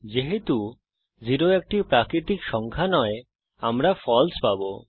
যেহেতু 0 একটি প্রাকৃতিক সংখ্যা নয় আমরা ফালসে পাবো